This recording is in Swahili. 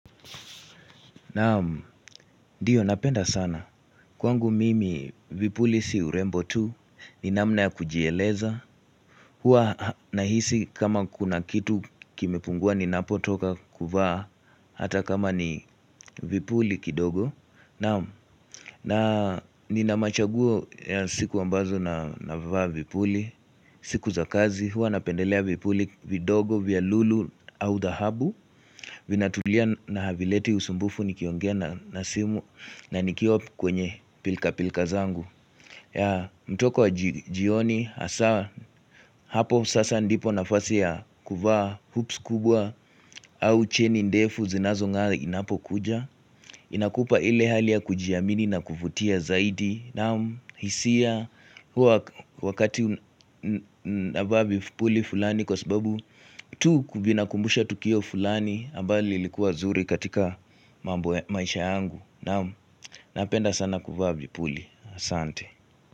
Naam, ndiyo napenda sana. Kwangu mimi, vipuli si urembo tu. Ni namna ya kujieleza. Huwa nahisi kama kuna kitu kimepungua ninapotoka kuvaa. Hata kama ni vipuli kidogo. Naam, na nina machaguo ya siku ambazo navaa vipuli. Siku za kazi, huwa napendelea vipuli vidogo, vya lulu, au thahabu. Vinatulia na havileti usumbufu nikiongea na simu. Na nikiwa kwenye pilka-pilka zangu. Ya mtoko wa jioni hasa hapo sasa ndipo nafasi ya kuvaa hoops kubwa au cheni ndefu zinazongaa inapokuja. Inakupa ile hali ya kujiamini na kuvutia zaidi. Naam, hisia huwa wakati navaa vipuli fulani kwa sababu tu juu inakumbusha tukio fulani ambalo lilikuwa zuri katika maisha yangu. Naam, napenda sana kuvaa vipuli aSante.